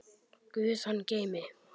Guð hann geymi.